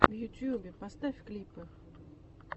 в ютубе поставь клипы